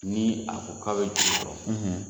Ni a ko k'a bɛ juru dɔ